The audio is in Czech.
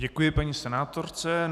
Děkuji paní senátorce.